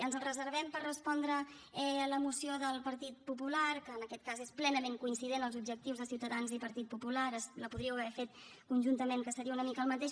ens el reservem per respondre la moció del partit popular que en aquest cas és plenament coincident els objectius de ciutadans i partit popular la podríeu haver fet conjuntament que seria una mica el mateix